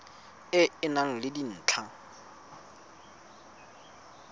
e e nang le dintlha